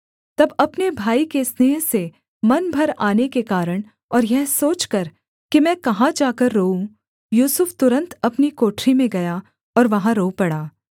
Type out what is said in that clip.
तब अपने भाई के स्नेह से मन भर आने के कारण और यह सोचकर कि मैं कहाँ जाकर रोऊँ यूसुफ तुरन्त अपनी कोठरी में गया और वहाँ रो पड़ा